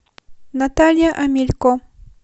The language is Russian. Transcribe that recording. наталья омелько